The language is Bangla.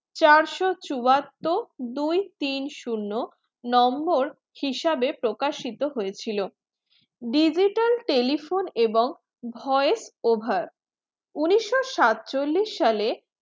চারশো চুয়াত্তর দুই তিন শুন্য নম্বর হিসাবে প্রকাশিত হয়েছিল digital telephone এবং voice over উনিশশো সাতচল্লিশ সালে